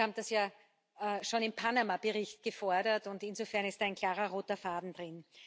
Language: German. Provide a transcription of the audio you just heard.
Wir haben das ja schon in Panama Bericht gefordert, und insofern ist ein klarer roter Faden drin.